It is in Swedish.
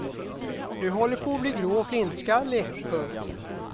Du håller på att bli grå och flintskallig. punkt